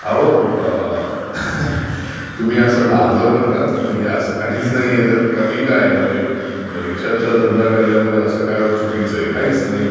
अहो Laugh तुम्ही असं लाजवू नकातं, अस कमी काय आहे, म्हणजे रीक्षाचा धंदा करण्यात असं काय चुकीचं आहे, काहीचं नाही,.